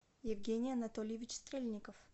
евгений анатольевич стрельников